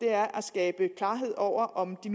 er at skabe klarhed over om de